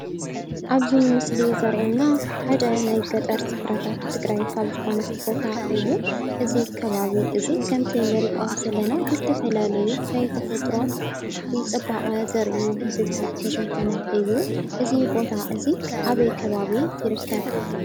ኣብዚ ምስሊ ዘሪኤና ሓደ ናይ ገጠር ስፍራታት ትግራይ ካብ ዝኾነ ቦታ እዩ፡፡ እዚ ከባቢ እዚ ከምቲ ንሪኦ ዘለና ብዝተፈላለዩ ናይ ተፈጥሮ ፅባቐ ዘርኢታት ዝተሸፈነ እዩ፡፡ እዚ ቦታ እዚ ኣበይ ከባቢ ይርከብ?